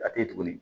A tɛ ye tuguni